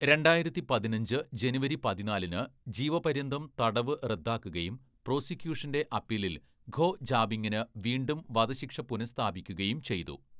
രണ്ടായിരത്തി പതിനഞ്ച് ജനുവരി പതിനാലിന്‌ ജീവപര്യന്തം തടവ് റദ്ദാക്കുകയും പ്രോസിക്യൂഷന്റെ അപ്പീലിൽ ഖോ ജാബിംഗിന് വീണ്ടും വധശിക്ഷ പുനസ്ഥാപിക്കുകയും ചെയ്തു.